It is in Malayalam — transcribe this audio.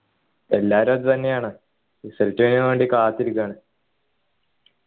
എല്ലാരും അതുതന്നെയാണ് result നു വേണ്ടി കാത്തിരിക്കുവാണ്